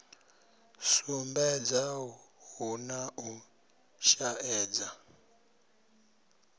sumbedza hu na u shaedza